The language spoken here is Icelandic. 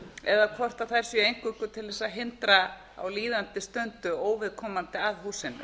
eða hvort þær séu eingöngu til þess að hindra á líðandi stundu óviðkomandi aðila að húsinu